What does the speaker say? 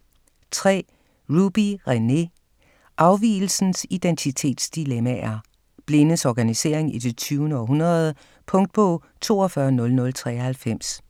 3. Ruby, René: Afvigelsens identitetsdilemmaer: blindes organisering i det 20. århundrede Punktbog 420093